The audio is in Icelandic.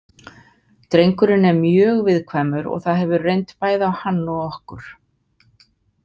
Drengurinn er mjög viðkvæmur og það hefur reynt bæði á hann og okkur.